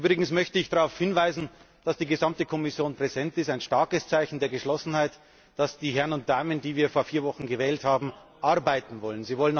Übrigens möchte ich darauf hinweisen, dass die gesamte Kommission präsent ist ein starkes Zeichen der Geschlossenheit und ein Zeichen, dass die Herren und Damen, die wir vor vier Wochen gewählt haben, arbeiten wollen.